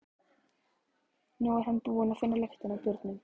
Nú er hann búinn að finna lyktina af bjórnum.